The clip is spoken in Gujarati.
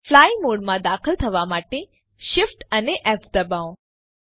ફ્લાય મોડમાં દાખલ થવા માટે Shift અને ફ દબાવો